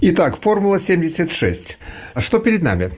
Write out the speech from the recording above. итак формула семьдесят шесть что перед нами